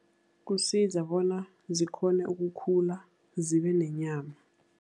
Kusiza bona zikghone ukukhula, zibenenyama.